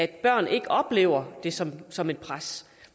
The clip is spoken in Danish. børn ikke oplever det som som et pres